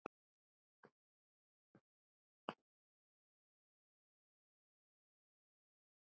Lof og last